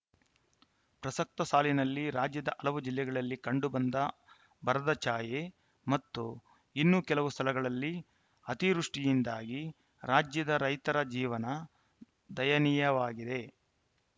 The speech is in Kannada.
ಪ್ರಸಕ್ತ ಸಾಲಿನಲ್ಲಿ ರಾಜ್ಯದ ಹಲವು ಜಿಲ್ಲೆಗಳಲ್ಲಿ ಕಂಡು ಬಂದ ಬರದಛಾಯೆ ಮತ್ತು ಇನ್ನು ಕೆಲವು ಸ್ಥಳಗಳಲ್ಲಿ ಅತಿವೃಷ್ಠಿಯಿಂದಾಗಿ ರಾಜ್ಯದ ರೈತರ ಜೀವನ ದಯನೀಯವಾಗಿದೆ